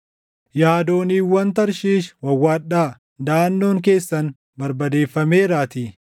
Yaa dooniiwwan Tarshiish wawwaadhaa; daʼannoon keessan barbadeeffameeraatii!